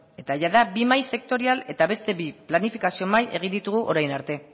eta jada bi mahai sektorial eta beste bi planifikazio mahai egin ditugu orain arte